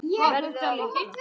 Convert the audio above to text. Verður að vakna.